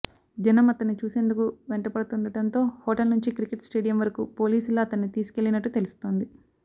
జనం అతన్ని చూసేందుకు వెంటపడుతుండటతో హోటల్ నుంచి క్రికెట్ స్టేడియం వరకు పోలీసులే అతన్ని తీసుకెళ్లినట్టు తెలుస్తోంది